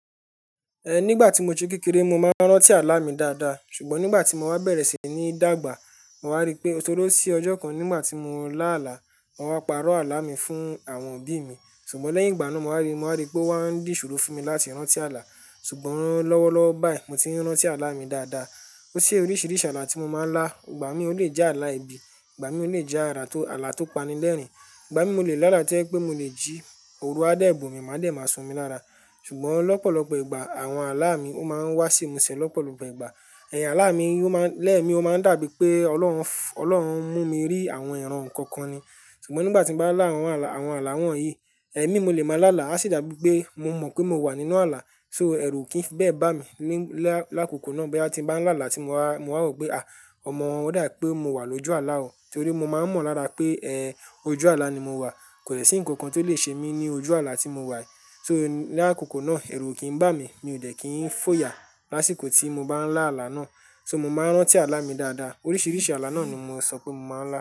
Nígbà tí mo ti kú kékeré mo máa ń rántí àlá mi dáadáa ṣùgbọ́n nígbà tí mo wá bẹ̀rẹ̀ sí ní dàgbà, mo wá rí pé ó toró sí ọjọ́ kan nígbà tí mo ń lá àlá, wọn wá parọ́ àlá mi fún àwọn òbí mi. Ṣùgbọ́n lẹ́yìn ìgbà náà mo wá rí, mo wá rí pé wọ́n ń dì ṣòro fún mi láti rántí àlá. Ṣùgbọ́n lọ́wọ́lọ́wọ́ báyìí mo ti ń rántí àlá mi dáadáa. Ó ṣe oríṣiríṣi àlá tí mo máa ń lá. Ìgbà mí o leè já àlá ibi, ìgbà mí o leè jẹ àrá tó, àlá tó pani lẹ́rìn-ín, ìgbà mí mo leè lá láti ọ́ pé mo le ji òru a dẹ̀ bu mi, máa dẹ̀ máa sun mí lára. Ṣùgbọ́n lọ́pọ̀lọpọ̀ ìgbà àwọn àlá mi ó máa ń wá sí imusẹ̀ lọ́pọ̀lọpọ ìgbà. Àlá mi yóò máa, lẹ́ẹ̀mi ó máa ń dàbí pé Ọlọ́run f- Ọlọ́run mú mi rí àwọn ìran nǹkan kan ni. Ṣùgbọ́n nígbà tí bá lá àwọn àlá, àwọn àlá wọ̀nyí, ẹ̀mí mo leè máa lá àlá, á sì dàbí pé mo mọ̀ pé mo wà nínú àlá. So ẹ̀rù kì í bẹ́ẹ̀ bá mi ní lá-- lákòókò náà bí a ti ń bá ń lá àlá tí mo wá, mo wá wò pé à, ọmọ wọ́n dà pé mo wà lójú àlá o. Nítorí mo máa ń mọ̀ lára pé eh, ojú àlá ni mo wà. Kò lè sí nǹkan kan tó lè ṣe mí ní ojú àlá tí mo wà. So lákòókò náà ẹ̀rù kì í bá mi. Mi ò dẹ̀ kí ń fòyà lásìkò tí mo bá ń lá àlá náà. So mo máa ń rántí àlá mi dáadáa. Oríṣiríṣi àlá náà ni mo sọ pé mo máa ń lá.